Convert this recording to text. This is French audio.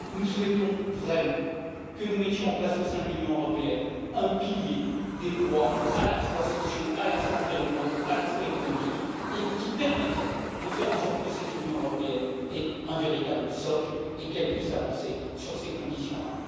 Nous souhaitons vraiment mettre en place au sein de l'Union européenne un pilier des droits à la fois sociaux, environnementaux et économiques, qui permettrait de faire en sorte que cette Union européenne ait un véritable socle et qu'elle puisse avancer sur ces conditions là.